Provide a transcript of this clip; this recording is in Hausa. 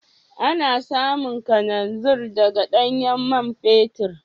Ana samun kananzir daga ɗanyen man fetur.